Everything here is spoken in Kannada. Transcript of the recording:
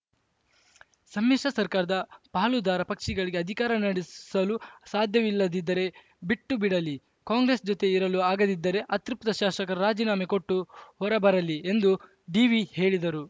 ಸಮ್ಮಿಶ್ರ ಸರ್ಕಾರದ ಪಾಲುದಾರ ಪಕ್ಷಿಗಳಿಗೆ ಅಧಿಕಾರ ನಡೆಸಲು ಸಾಧ್ಯವಿಲ್ಲದಿದ್ದರೆ ಬಿಟ್ಟುಬಿಡಲಿ ಕಾಂಗ್ರೆಸ್‌ ಜೊತೆ ಇರಲು ಆಗದಿದ್ದರೆ ಅತೃಪ್ತ ಶಾಸಕರು ರಾಜಿನಾಮೆ ಕೊಟ್ಟು ಹೊರಬರಲಿ ಎಂದು ಡೀವಿ ಹೇಳಿದರು